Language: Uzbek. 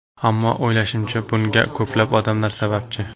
Ammo o‘ylashimcha, bunga ko‘plab odamlar sababchi.